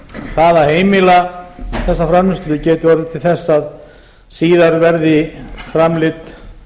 það að heimila þessa framleiðslu gæti orðið til þess að síðar verði framleidd